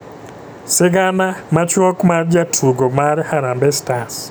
Sigana machuok mar jatugo mar harambee stars.